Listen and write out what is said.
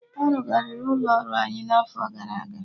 Arụgharị ụlọ ọrụ anyị n'afọ gara aga